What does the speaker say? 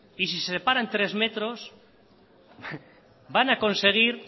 y si se separan tres metros van a conseguir